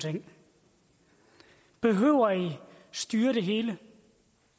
ting behøver i styre det hele